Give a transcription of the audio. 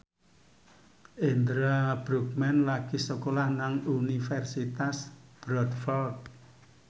Indra Bruggman lagi sekolah nang Universitas Bradford